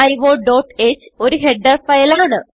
stdioഹ് ഒരു header file ആണ്